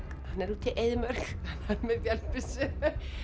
hann er úti í eyðimörk hann er með vélbyssu